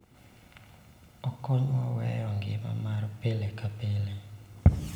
Okonywa weyo ngima mar pile ka pile